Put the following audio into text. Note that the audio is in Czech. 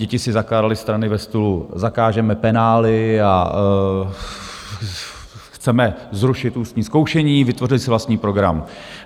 Děti si zakládaly strany ve stylu: zakážeme penály a chceme zrušit ústní zkoušení, vytvořily si vlastní program.